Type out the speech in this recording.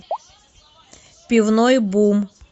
пивной бум